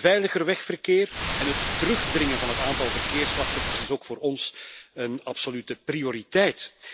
Een veiliger wegverkeer en het terugdringen van het aantal verkeersslachtoffers is ook voor ons een absolute prioriteit.